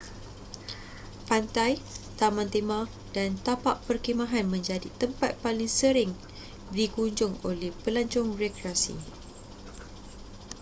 pantai taman tema dan tapak perkhemahan menjadi tempat paling sering dikunjung oleh pelancong rekreasi